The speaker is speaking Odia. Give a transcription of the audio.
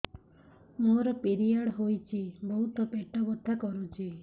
ମୋର ପିରିଅଡ଼ ହୋଇଛି ବହୁତ ପେଟ ବଥା କରୁଛି